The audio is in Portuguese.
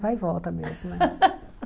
Vai e volta mesmo.